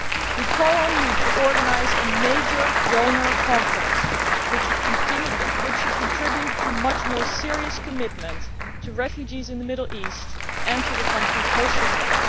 We call on you to organise a major donor conference, which should contribute to much more serious commitment to refugees in the Middle East and to the countries hosting them.